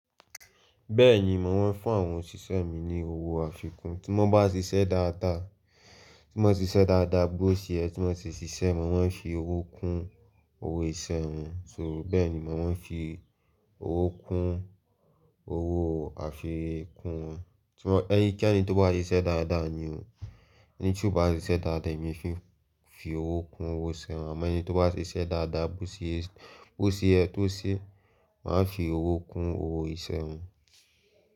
Bẹ́ẹ̀ni, màá fún àwọn òṣìṣẹ́ mi ní owó àfikún tí wọ́n bá ṣiṣẹ́ dáadáa, tí wọ́n ṣiṣẹ́ dáadáa bó ṣe yẹ ki wọ́n sì ṣiṣẹ́, màá fi owó kún owó ìṣẹ́ wọn. So bẹ́ẹ̀ni, mo màá fi owó kún owó àfikún wọn. Tí ẹnikeni tó bá ṣiṣẹ́ dáadáa ni o, ẹni tí kò bá ṣiṣẹ́ dáadáa èmi o fi owó kún owó ìṣẹ́ wọn, àmọ́ ẹni tó bá ṣiṣẹ́ dáadáa bó ṣe yẹ tó ṣe, màá fi owó kún owó ìṣẹ́ wọn.